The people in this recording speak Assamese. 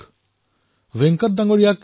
ভকেল ফৰ লোকেল আজি ঘৰে ঘৰে গুঞ্জৰিত হৈছে